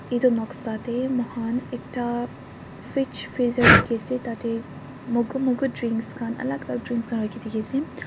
edu noksa tae mokhan ekta fridge freezer dikhiase tatae momu moku drinks khan alak alak drinks khan dikhiase.